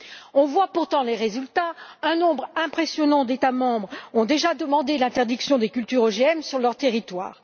Nous voyons pourtant les résultats un nombre impressionnant d'États membres ont déjà demandé l'interdiction des cultures OGM sur leur territoire.